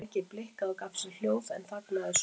Tækið blikkaði og gaf frá sér hljóð en þagnaði svo.